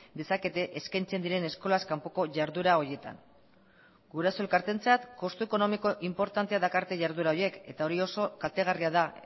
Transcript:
dezakete eskaintzen diren eskolaz kanpoko jarduera horietan guraso elkarteentzat kostu ekonomiko inportantea dakarte jarduera horiek eta hori oso kaltegarria da